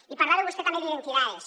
i parlava vostè també d’ identidades